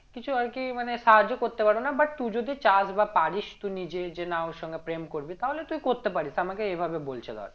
কিছু আরকি মানে সাহায্য করতে পারবো না but তুই যদি চাস বা পারিস তো নিজে যে না ওর সঙ্গে প্রেম করবি তাহলে তুই করতে পারিস আমাকে এইভাবে বলছে ধর